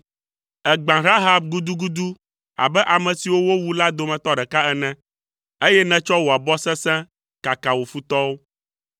Ègbã Rahab gudugudu abe ame siwo wowu la dometɔ ɖeka ene, eye nètsɔ wò abɔ sesẽ kaka wò futɔwo.